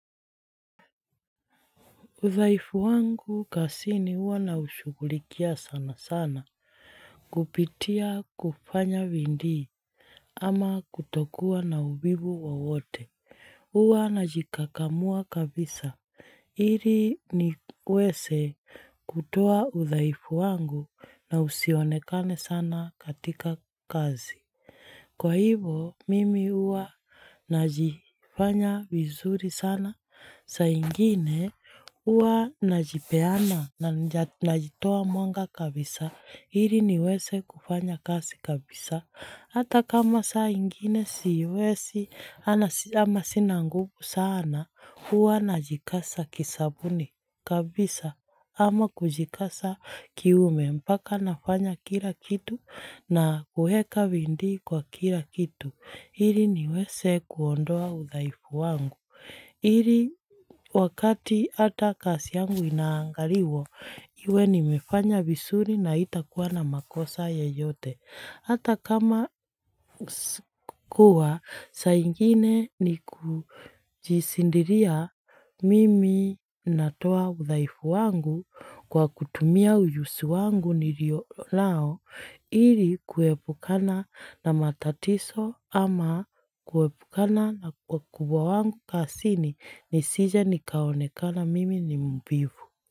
Udhaifu wangu kazini huwa naushughulikia sana sana kupitia kufanya bidii ama kutokuwa na uvivu wowote. Huwa najikakamua kabisa ili niweze kutoa udhaifu wangu na usionekane sana katika kazi. Kwa hivyo, mimi huwa najifanya vizuri sana. Saa ingine huwa najipeana na najitoa mwanga kabisa ili niweze kufanya kazi kabisa. Hata kama saa ingine siwezi ama sina nguvu sana huwa najikaza kisabuni kabisa ama kujikaza kiume mpaka nafanya kila kitu na kuweka bidii kwa kila kitu. Ili niweze kuondoa udhaifu wangu. Ili wakati hata kazi yangu inaangaliwa, iwe nimefanya vizuri na haitakuwa na makosa yeyote. Hata kama kuwa saa ingine ni kujishindilia mimi natoa udhaifu wangu kwa kutumia ujuzi wangu nilio nao ili kuepukana na matatizo ama kuepukana na wakubwa wangu kazini nisije nikaonekana mimi ni mvivu.